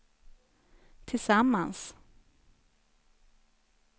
tillsammans